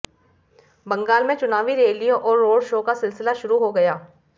बंगाल में चुनावी रैलियों और रोड शो का सिलसिला शुरू हो गया